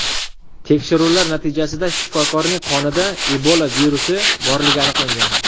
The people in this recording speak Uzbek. Tekshiruvlar natijasida shifokorning qonida Ebola virusi borligi aniqlangan.